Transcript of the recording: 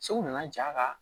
Segu nana ja